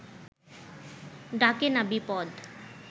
ডাকে না বিপদ